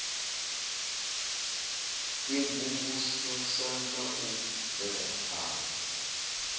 u imvumvusa na u bvelaphana